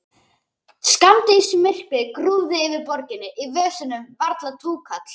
Skammdegismyrkrið grúfði yfir borginni, í vösunum varla túkall.